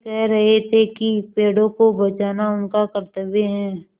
वे कह रहे थे कि पेड़ों को बचाना उनका कर्त्तव्य है